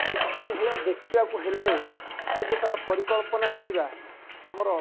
କୋଉ ଭଳିଆ ଦେଖିବାକୁ ହେଲେ ଆମେ ଯୋଉ ତାଙ୍କର ପରିକଳ୍ପନା କରିବା ଆମର